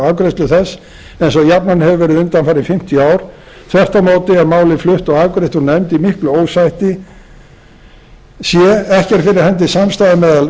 afgreiðslu þess eins og jafnan hefur verið undanfarin fimmtíu ár þvert á móti er málið flutt og afgreitt úr nefnd í miklu ósætti c ekki er fyrir hendi samstaða